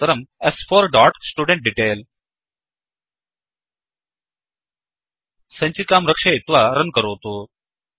तदनन्तरं स्4 dot student detail सञ्चिकां रक्षयित्वा रन् करोतु